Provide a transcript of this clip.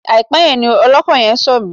Àìpẹ́ yìí ni ọlọ́kọ̀ yẹn sọ̀ mí.